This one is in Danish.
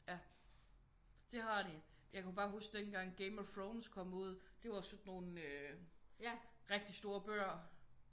Ja det har de. Jeg kunne bare huske dengang Game of Thrones kom ud det var sådan nogle rigtig store bøger